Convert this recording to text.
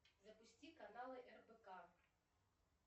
запусти каналы рбк